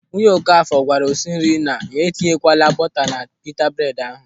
Nwunye Okafọ gwara osinri na ya etinyekwala buta na pita bred ahụ.